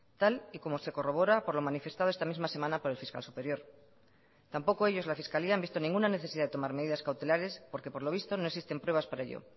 tal y como se corrobora por lo manifestado esta misma semana por el fiscal superior tampoco ellos la fiscalía han visto ninguna necesidad de tomar medidas cautelares porque por lo visto no existen pruebas para ello